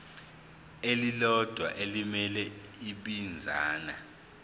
elilodwa elimele ibinzana